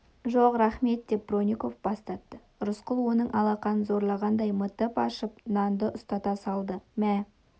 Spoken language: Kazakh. жоқ рақмет деп бронников бас тартты рысқұл оның алақанын зорлағандай мытып ашып нанды ұстата салды мә